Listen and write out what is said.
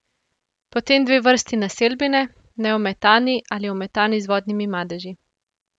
Potem dve vrsti naselbine, neometani ali ometani z vodnimi madeži.